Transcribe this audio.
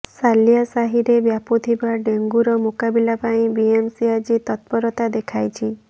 ସାଲିଆସାହିରେ ବ୍ୟାପିଥିବା ଡେଙ୍ଗୁର ମୁକାବିଲା ପାଇଁ ବିଏମ୍ସି ଆଜି ତତ୍ପରତା ଦେଖାଇଛି